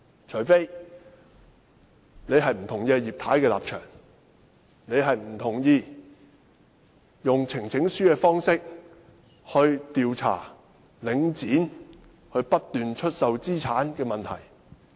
除非，你不同意葉太的立場，不同意用呈請書的方式調查領展不斷出售資產的問題。